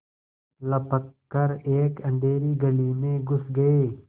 लपक कर एक अँधेरी गली में घुस गये